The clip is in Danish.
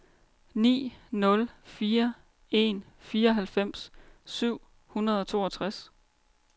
ni nul fire en fireoghalvfems syv hundrede og toogtres